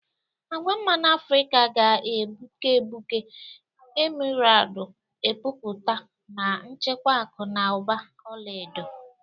Agwa mmanụ Afrika ga-egbuke egbuke, emeraldu epupụta na-echekwa akụ na ụba ọla edo.